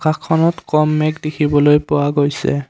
আকাশখনত কম মেঘ দেখিবলৈ পোৱা গৈছে।